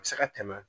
A bɛ se ka tɛmɛ